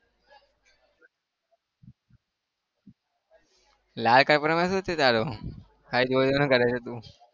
લાલ કપડામાં શું છે તારું? કરે છે તું